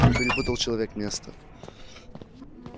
ну перепутал человек место